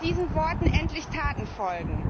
diesen Worten endlich Taten folgen.